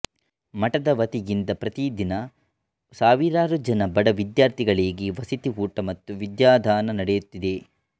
ಮಠದ ವತಿಯಿಂದ ಪ್ರತಿ ದಿನ ಸಾವಿರಾರು ಜನ ಬಡ ವಿದ್ಯಾರ್ಥಿಗಳಿಗೆ ವಸತಿ ಊಟ ಮತ್ತು ವಿದ್ಯಾದಾನ ನೆಡೆಯುತ್ತಿದೆ